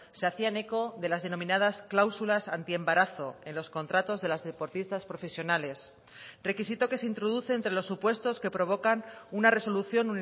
se hacían eco de las denominadas clausulas antiembarazo en los contratos de las deportistas profesionales requisito que se introduce entre los supuestos que provocan una resolución